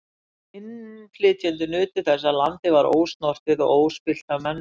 Innflytjendur nutu þess að landið var ósnortið og óspillt af mönnum.